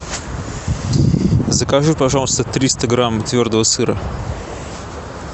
закажи пожалуйста триста грамм твердого сыра